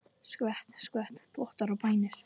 Skvett, skvett, þvottar og bænir.